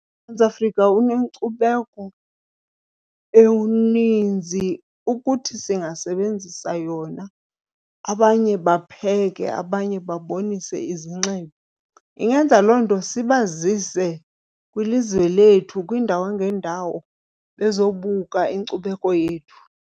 UMzantsi Afrika unenkcubeko eninzi ukuthi singasebenzisa yona, abanye bapheke abanye babonise izinxibo. Ingenza loo nto sibazise kwilizwe lethu, kwiindawo ngeendawo bezobuka inkcubeko yethu.